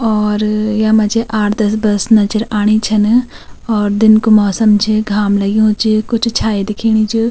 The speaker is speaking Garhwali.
और यमा च आठ दस बस नजर आणि छन और दिन कु मौसम च घाम लग्युं च कुछ छाया दिखेणी च।